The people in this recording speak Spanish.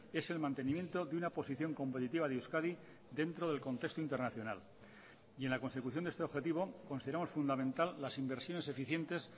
es el mantenimiento de una posición competitiva de euskadi dentro del contexto internacional y en la consecución de este objetivo consideramos fundamental las inversiones eficientes